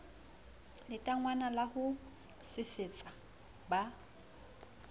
letangwana la ho sesetsa ba